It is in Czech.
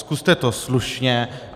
Zkuste to slušně.